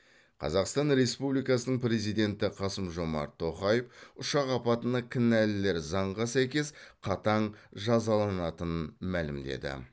қазақстан республикасының президенті қасым жомарт тоқаев ұшақ апатына кінәлілер заңға сәйкес қатаң жазаланатынын мәлімдеді